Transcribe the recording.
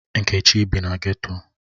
Nkechi bi na geto.